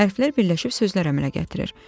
Hərflər birləşib sözlər əmələ gətirir.